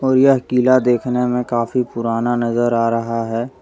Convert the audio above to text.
यह किला देखने मे काफ़ी पुरना नज़र आ रहा है।